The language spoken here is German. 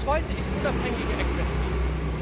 Das Zweite ist unabhängige Expertise.